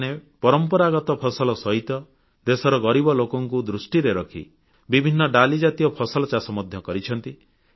କୃଷକମାନଙ୍କୁ ଧନ୍ୟବାଦ ଦେବାକୁ ଚାହେଁ ଯେ ସେମାନେ ପରମ୍ପରାଗତ ଫସଲ ସହିତ ଦେଶର ଗରିବ ଲୋକଙ୍କୁ ଦୃଷ୍ଟିରେ ରଖି ବିଭିନ୍ନ ଡାଲିଜାତୀୟ ଫସଲ ଚାଷ ମଧ୍ୟ କରିଛନ୍ତି